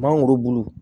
Mangoro bulu